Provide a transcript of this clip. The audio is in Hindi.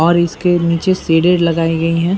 और इसके नीचे सीडे लगाई गयी हैं।